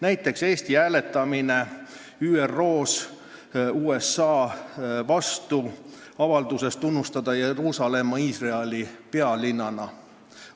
Näiteks hääletas Eesti ÜRO-s USA avalduse vastu tunnustada Jeruusalemma Iisraeli pealinnana.